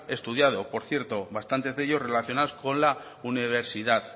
estudiado por cierto bastantes de ellos relacionados con la universidad